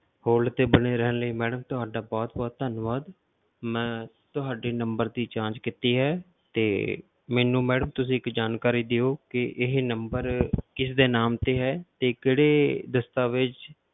Hold ਤੇ ਬਣੇ ਰਹਿਣ ਲਈ madam ਤੁਹਾਡਾ ਬਹੁਤ ਬਹੁਤ ਧੰਨਵਾਦ, ਮੈਂ ਤੁਹਾਡੀ number ਦੀ ਜਾਂਚ ਕੀਤੀ ਹੈ ਤੇ ਮੈਨੂੰ madam ਤੁਸੀਂ ਇੱਕ ਜਾਣਕਾਰੀ ਦਿਓ ਕਿ ਇਹ number ਕਿਸਦੇ ਨਾਮ ਤੇ ਹੈ ਤੇ ਕਿਹੜੇ ਦਸਤਾਵੇਜ਼